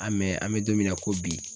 an bɛ don min na ko bi